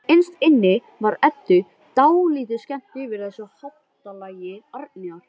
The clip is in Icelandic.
Innst inni var Eddu dálítið skemmt yfir þessu háttalagi Árnýjar.